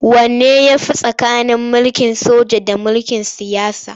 Wanne ya fi tsakanin mulkin soja da na siyasa?